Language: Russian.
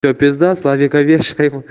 п славикович